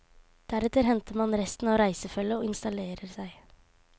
Deretter henter man resten av reisefølget og installerer seg.